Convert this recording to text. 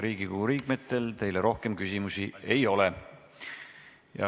Riigikogu liikmetel teile rohkem küsimusi ei ole.